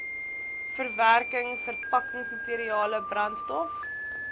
verwerking verpakkingsmateriale brandstof